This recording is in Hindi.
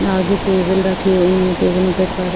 आगे टेबल रखे हुई है टेबलों में पे पर --